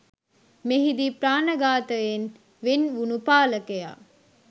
මෙහිදී ප්‍රාණඝාතයෙන් වෙන් වුණු පාලකයා